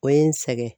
O ye n sɛgɛn